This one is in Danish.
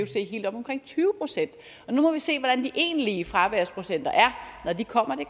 helt oppe omkring tyve procent og nu må vi se hvordan de egentlige fraværsprocenter er når de kommer det